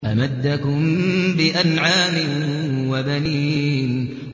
أَمَدَّكُم بِأَنْعَامٍ وَبَنِينَ